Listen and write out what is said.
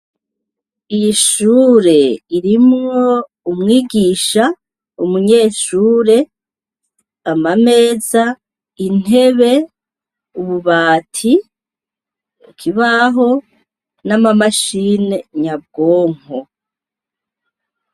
Iri shure ririmwo umwigisha, umunyeshure, amameza, intebe, ububati, ikibaho, n'ama mashine nyabwonko.